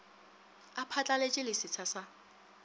a phatlaletše le setsha sa